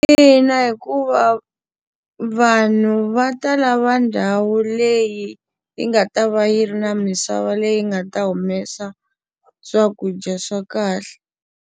Ina, hikuva vanhu va ta lava ndhawu leyi yi nga ta va yi ri na misava leyi nga ta humesa swakudya swa kahle.